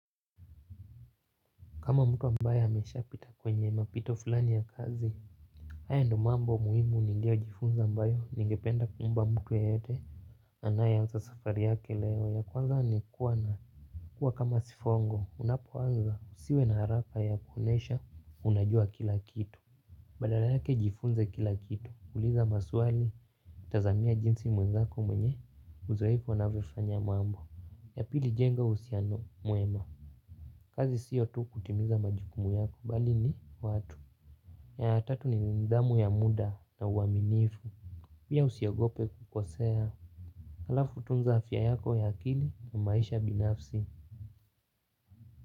Kama mtu ambaye amesha pita kwenye mapito fulani ya kazi. Haya ndo mambo muhimu niliyo jifunza ambayo ningependa kuomba mtu yeyote. Anayeanza safari yake leo ya kwanza ni kuwa na kuwa kama sifongo unapo waza usiwe na haraka ya kuonyesha unajua kila kitu. Badala yake jifunze kila kitu kuuliza maswali. Tazamia jinsi mwenzako mwenye uzoefu anavyofanya mambo. Ya pili jenga uhusiano mema. Kazi siyo tu kutimiza majukumu yako bali ni watu. Ya tatu ni nidhamu ya muda na uaminifu, pia usiogope kukosea. Halafu tunza afya yako ya akili na maisha binafsi.